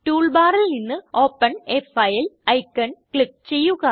tool ബാറിൽ നിന്ന് open a file icon click ചെയ്യുക